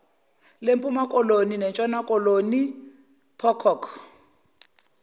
lempumakoloni nentshonakoloni pococ